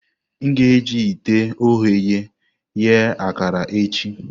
A ga-eji ite ogheye eghe akara echi.